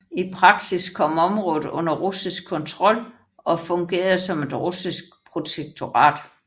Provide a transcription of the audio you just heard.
I praksis kom området under russisk kontrol og fungerede som et russisk protektorat